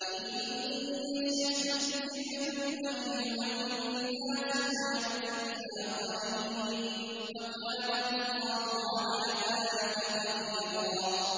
إِن يَشَأْ يُذْهِبْكُمْ أَيُّهَا النَّاسُ وَيَأْتِ بِآخَرِينَ ۚ وَكَانَ اللَّهُ عَلَىٰ ذَٰلِكَ قَدِيرًا